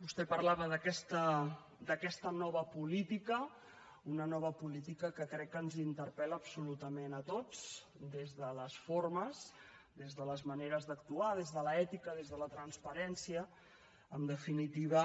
vostè parlava d’aquesta nova política una nova política que crec que ens interpel·la absolutament a tots des de les formes des de les maneres d’actuar des de l’ètica des de la transparència en definitiva